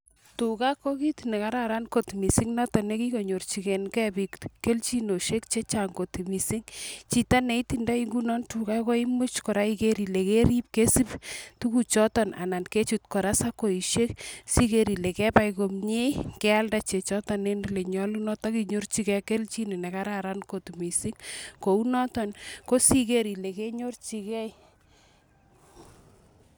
Tuga ko kit ne kararan kot missing noton ne kikonyorchikeiken biik keljinosiek chechang kot missing. Chito ne itindoi ngunon tuga koimuch kora iker ile kerip, kesub tuguk choton anan kechut kora sakoishek. Siker ile kebai komye, kealda chechoton en ole nyolunot akinyorchikei keljin ne kararan kot missing. Kounoton, kosiker ile kenyorchikei